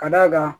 Ka d'a kan